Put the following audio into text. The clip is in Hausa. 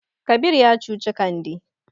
Kabir ya cuci Kande.